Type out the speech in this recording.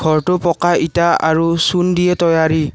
ঘৰটো পকা ইটা আৰু চূণ দিয়ে তৈয়াৰী।